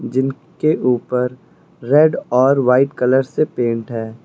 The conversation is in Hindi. जिनके ऊपर रेड और व्हाइट कलर से पेंट है।